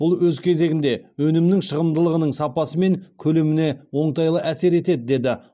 бұл өз кезегінде өнімнің шығымдылығының сапасы мен көлеміне оңтайлы әсер етеді деді